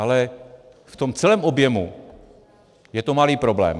Ale v tom celém objemu je to malý problém.